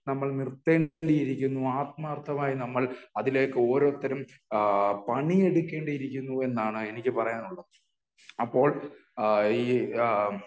നമ്മൾ നിർത്തേണ്ടിയിരിക്കുന്നു. ആത്മാർത്തമായി നമ്മൾ അതിലേക്ക് ഓരോരുത്തരും ആ ആ പണിയെടുക്കേണ്ടിയിരിക്കുന്നു എന്നാണ് എനിക്ക് പറയാനുള്ളത്. അപ്പോൾ ഈ ആ